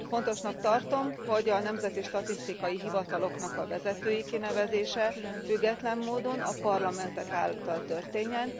Fontosnak tartom, hogy a nemzeti statisztikai hivatalok vezetőinek kinevezése független módon, a parlamentek által történjen.